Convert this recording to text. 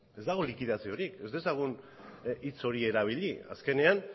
ez dago likidaziorik ez dezagun hitz hori erabili azkenean